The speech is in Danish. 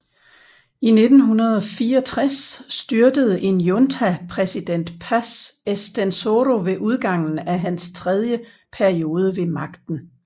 I 1964 styrtede en junta præsident Paz Estenssoro ved udgangen af hans tredje periode ved magten